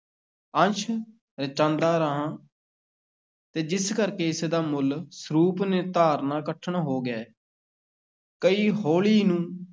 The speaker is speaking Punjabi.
ਅੰਸ਼ ਰਚਾਂਦਾ ਰਿਹਾ ਤੇ ਜਿਸ ਕਰਕੇ ਇਸ ਦਾ ਮੂਲ ਸਰੂਪ ਨਿਤਾਰਨਾ ਕਠਨ ਹੋ ਗਿਆ ਹੈ ਕਈ ਹੋਲੀ ਨੂੰ